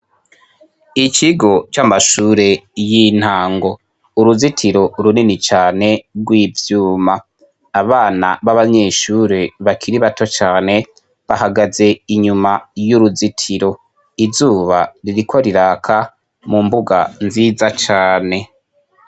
ikigo c'amashure y'intango uruzitiro runini cane rw'ivyuma abana b'abanyeshure bakiri bato cane bahagaze inyuma y'uruzitiro izuba ririko riraka mu mbuga nziza cane.